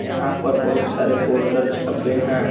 यहीं पे बहुत सारे पोस्टर छपे हैं।